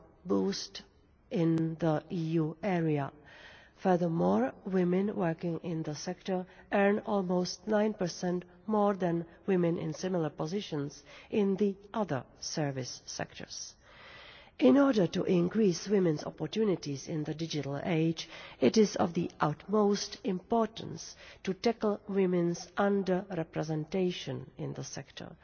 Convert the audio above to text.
boost in the EU area. Furthermore, women working in the sector earn almost 9 more than women in similar positions in other service sectors. In order to increase women's opportunities in the digital age, it is of the utmost importance to tackle women's under representation in the sector.